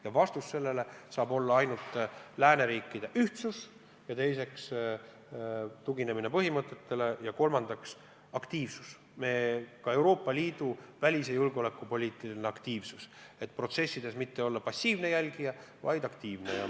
Ja vastus sellele saab olla ainult lääneriikide ühtsus, teiseks tuginemine oma põhimõtetele ja kolmandaks Euroopa Liidu välis- ja julgeolekupoliitiline aktiivsus, et protsessides mitte olla passiivne jälgija, vaid aktiivne.